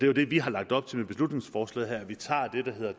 jo det vi har lagt op til med beslutningsforslaget at vi tager det der hedder